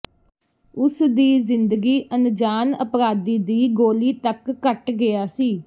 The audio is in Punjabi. ਉਸ ਦੀ ਜ਼ਿੰਦਗੀ ਅਣਜਾਣ ਅਪਰਾਧੀ ਦੀ ਗੋਲੀ ਤੱਕ ਕੱਟ ਗਿਆ ਸੀ